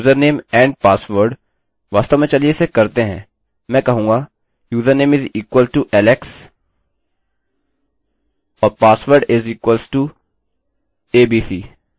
वास्तव में चलिए इसे करते हैं मैं कहूँगा username is equal to बराबर है alex के और password is equal to abc